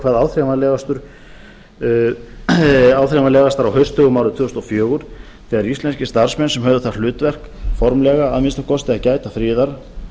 hvað áþreifanlegastar á haustdögum árið tvö þúsund og fjögur þegar íslenskir starfsmenn sem höfð það hlutverk formlega að minnsta kosti að gæta friðar